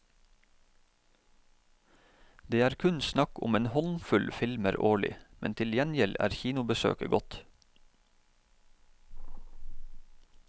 Det er kun snakk om en håndfull filmer årlig, men til gjengjeld er kinobesøket godt.